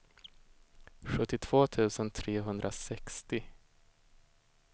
sjuttiotvå tusen trehundrasextio